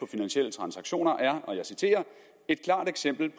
finansielle transaktioner er og jeg citerer et klart eksempel